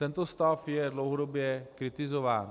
Tento stav je dlouhodobě kritizován.